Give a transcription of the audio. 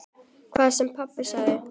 Hvað sem pabbi sagði.